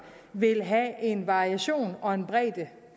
vil have en variation og en bredde